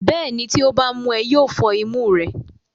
bẹ́ẹ̀ni, tí ó bá mú ẹ, yóò fọ́ imú rẹ.